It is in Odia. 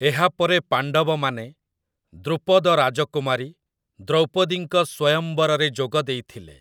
ଏହାପରେ ପାଣ୍ଡବମାନେ, ଦ୍ରୁପଦ ରାଜକୁମାରୀ, ଦ୍ରୌପଦୀଙ୍କ ସ୍ୱୟମ୍ବରରେ ଯୋଗ ଦେଇଥିଲେ ।